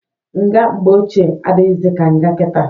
Nga mgbe ochie adịghịzị ka nga kita.